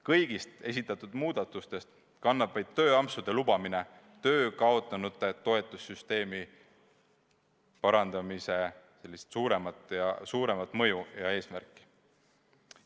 Kõigist esitatud muudatustest kannab vaid tööampsude lubamine töö kaotanute toetamise süsteemi parandamisel suuremat mõju ja eesmärki.